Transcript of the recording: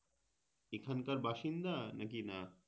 এখানকার বাসিন্দা নাকি না